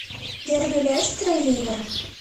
дерби лестера и ливера